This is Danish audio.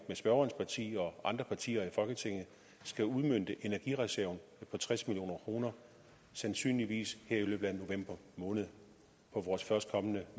med spørgerens parti og andre partier i folketinget skal udmønte energireserven på tres million kr sandsynligvis her i løbet af november måned på vores førstkommende